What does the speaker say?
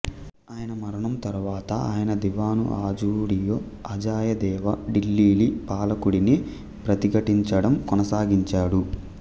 ఆయన మరణం తరువాత ఆయన దివాను అజు డియో అజయదేవా ఢిల్లీల్లీ పాలకుడిని ప్రతిఘటించడం కొనసాగించాడు